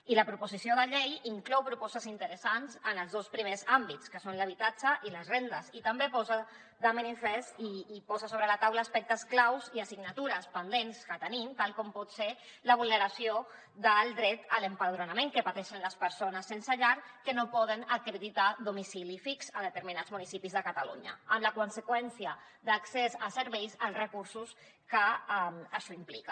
i la proposició de llei inclou propostes interessants en els dos primers àmbits que són l’habitatge i les rendes i també posa de manifest i posa sobre la taula aspectes claus i assignatures pendents que tenim com pot ser la vulneració del dret a l’empadronament que pateixen les persones sense llar que no poden acreditar domicili fix a determinats municipis de catalunya amb la conseqüència d’accés a serveis a recursos que això implica